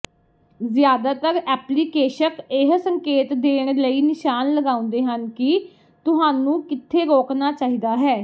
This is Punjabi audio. ਜ਼ਿਆਦਾਤਰ ਐਪਲੀਕੇਸ਼ਕ ਇਹ ਸੰਕੇਤ ਦੇਣ ਲਈ ਨਿਸ਼ਾਨ ਲਗਾਉਂਦੇ ਹਨ ਕਿ ਤੁਹਾਨੂੰ ਕਿੱਥੇ ਰੋਕਣਾ ਚਾਹੀਦਾ ਹੈ